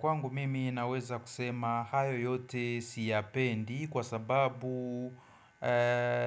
Kwangu mimi naweza kusema hayo yote siyapendi kwa sababu